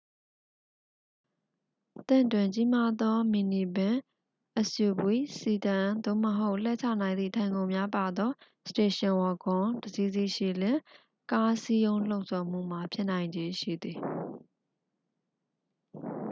သင့်တွင် ကြီးမားသော မီနီဗင် suv စီဒန် သို့မဟုတ် လှဲချနိုင်သည့် ထိုင်ခုံများပါသော စတေရှင် ဝဂွန် တစ်စီးစီးရှိလျှင် ကားစည်းရုံးလှုံ့ဆော်မှုမှာ ဖြစ်နိုင်ခြေရှိသည်